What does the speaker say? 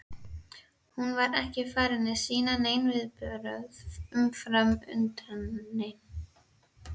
Hún var ekki farin að sýna nein viðbrögð umfram undrunina.